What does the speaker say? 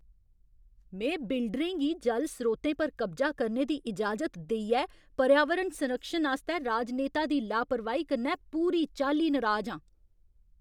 में बिल्डरें गी जल स्रोतें पर कब्जा करने दी इजाजत देइयै पर्यावरण संरक्षण आस्तै राजनेता दी लापरवाही कन्नै पूरी चाल्ली नराज आं।